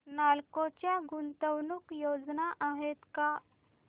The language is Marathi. नालको च्या गुंतवणूक योजना आहेत का